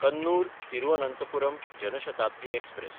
Kannur-Thiruvananthapuram Jan Shatabdi express